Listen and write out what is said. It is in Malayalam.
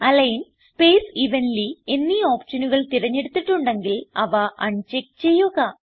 അലിഗ്ൻ സ്പേസ് എവൻലി എന്നീ ഓപ്ഷനുകൾ തിരഞ്ഞെടുത്തിട്ടുണ്ടെങ്കിൽ അവ അൺചെക്ക് ചെയ്യുക